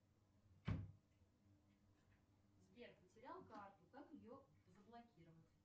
сбер потерял карту как ее заблокировать